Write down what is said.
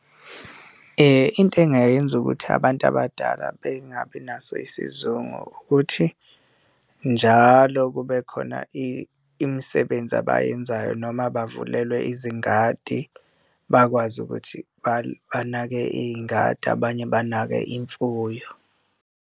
Into engingayenza ukuthi abantu abadala bengabi naso isizungu, ukuthi njalo kube khona imisebenzi abayenzayo noma bavulelwa izingadi bakwazi ukuthi banake iy'ngadi, abanye banake imfuyo.